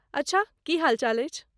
अच्छा, की हालचाल अछि?